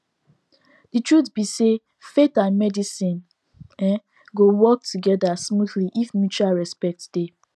the truth be sayfaith and medicine um go work together smoothly if mutual respect dey